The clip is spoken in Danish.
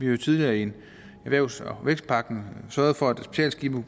jo tidligere i erhvervs og vækstpakken sørget for at specialskibe